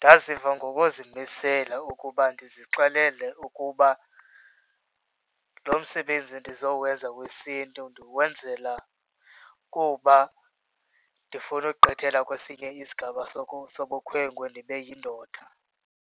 Ndaziva ngokuzimisela ukuba ndizixelele ukuba lo msebenzi ndizowenza wesiNtu ndiwenzela kuba ndifuna ugqithela kwesinye isigaba sobukhwenkwe ndibe yindoda.